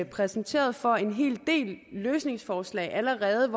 præsenteret for en hel del løsningsforslag allerede